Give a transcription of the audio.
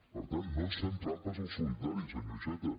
per tant no ens fem trampes al solitari senyor iceta